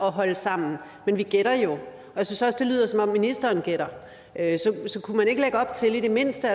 holde sammen men vi gætter jo jeg synes også det lyder som om ministeren gætter så kunne man i det mindste